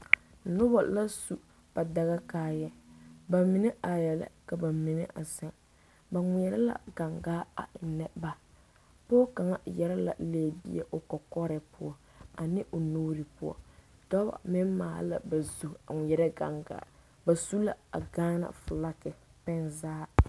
Noba la su ba daga kaayɛ ba mine arɛɛ la ka ba mine a zeŋ ba ŋmeɛrɛ la gaŋgaa a ennɛ ba pɔɔ kaŋ yɛrɛ la lɛbie o kɔkɔre poɔ ane o nuure poɔ dɔɔ kaŋa maale la o zu a ŋmeɛrɛ a gaŋgaa ba su la a gane felaake pɛnzage